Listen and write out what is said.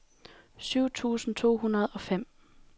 syv tusind to hundrede og fem